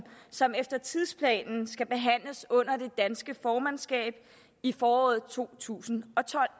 som efter tidsplanen skal behandles under det danske formandskab i foråret to tusind og tolv